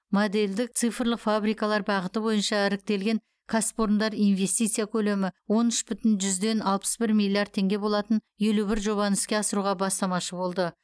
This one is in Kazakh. модельді цифрлық фабрикалар бағыты бойынша іріктелген кәсіпорындар инвестиция көлемі он үш бүтін жүзден алпыс бңр миллиард теңге болатын елу бір жобаны іске асыруға бастамашы болды